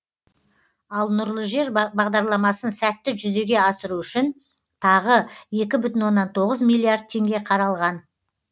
ал нұрлы жер бағдарламасын сәтті жүзеге асыру үшін тағы екі бүтін оннан тоғыз миллиард теңге қаралған